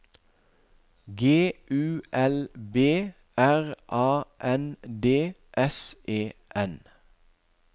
G U L B R A N D S E N